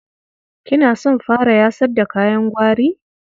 Kina son fara yasar da kayan gwari?